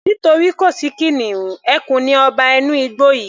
Nítorí kò sí kìnìún, ẹkùn ni ọba inú igbó yìí